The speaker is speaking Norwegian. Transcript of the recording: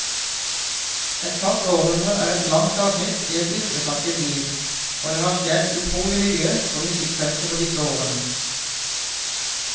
Et kvart århundre er et langt avsnitt i et yrkesaktivt liv, og det har skjedd utrolig mye på musikkfeltet på disse årene.